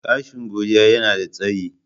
Gashi Godiya yanada tsayi.